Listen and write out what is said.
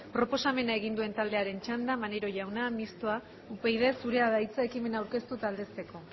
proposamen egin duen taldearen txanda maneiro jauna mistoa upyd zurea da hitza ekimena aurkeztu eta aldezteko